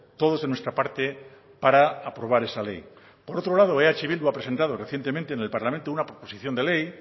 todos de nuestra parte para aprobar esa ley por otro lado eh bildu ha presentado recientemente en el parlamento una proposición de ley